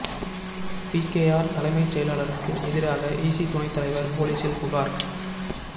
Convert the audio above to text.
PKR தலைமைச் செயலாளருக்கு எதிராக இசி துணைத் தலைவர் போலீசில் புகார்